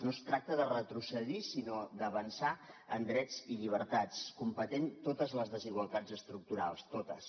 no es tracta de retrocedir sinó d’avançar en drets i llibertats combatent totes les desigualtats estructurals totes